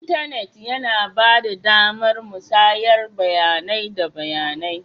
Intanit yana ba da damar musayar bayanai da bayanai.